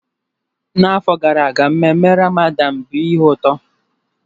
N'afọ gara aga mmenme Ramadan bụ ihe ụtọ